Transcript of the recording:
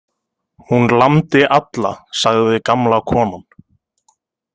Hún lamdi alla, sagði gamla konan.